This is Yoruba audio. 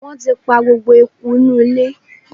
Wọ́n ti pa gbogbo eku inú ilé.